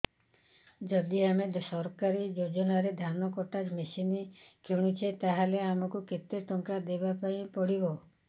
ଯଦି ଆମେ ସରକାରୀ ଯୋଜନାରେ ଧାନ କଟା ମେସିନ୍ କିଣୁଛେ ତାହାଲେ ଆମକୁ କେତେ ଟଙ୍କା ଦବାପାଇଁ ପଡିବ